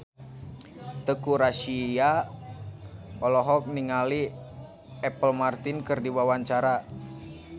Teuku Rassya olohok ningali Apple Martin keur diwawancara